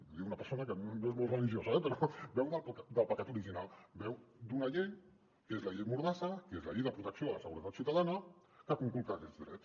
i ho diu una persona que no és molt religiosa eh però beu del pecat original beu d’una llei que és la llei mordas·sa que és la llei de protecció de la seguretat ciutadana que conculca aquests drets